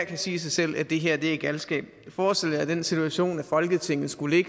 kan sige sig selv at det her er galskab forestil jer den situation at folketinget skulle